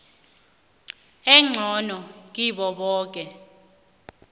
engcono kibo boke